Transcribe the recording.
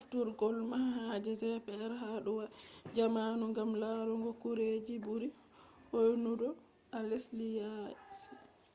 nafturgo manhaja gps ha dou waya jamanu gam laarugo gureji burii hoyugo to a lesdi yaasi